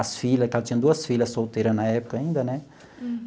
As filhas, que ela tinha duas filhas solteira na época ainda, né?